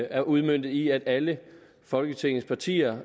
er udmøntet i at alle folketingets partier